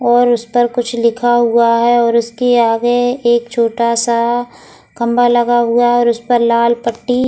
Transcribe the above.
और उस पर कुछ लिखा हुआ है और उसके आगे एक छोटा सा खंबा लगा हुआ है और उस पर लाल पट्टी --